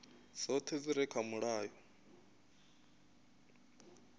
dzoṱhe dzi re kha mulayo